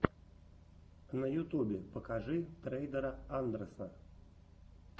на ютубе покажи трейдера андрэса